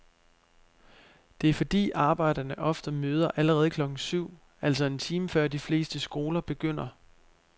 Det er fordi arbejdere ofte møder allerede klokken syv, altså en time før de fleste skoler begynder.